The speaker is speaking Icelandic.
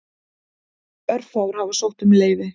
Örfáir hafa sótt um leyfi.